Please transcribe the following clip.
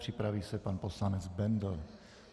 Připraví se pan poslanec Bendl.